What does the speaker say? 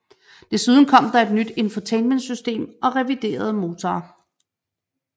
Desuden kom der et nyt infotainmentsystem og reviderede motorer